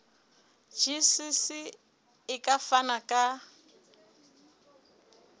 gcis e ka fana ka